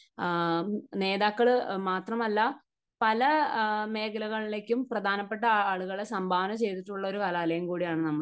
നേതാക്കൾ മാത്രമല്ല, പല മേഖലകളിലേക്കും പ്രധാനപ്പെട്ട ആളുകളെ സംഭാവന ചെയ്തിട്ടുള്ള ഒരു കലാലയം കൂടിയാണ് നമ്മുടെ.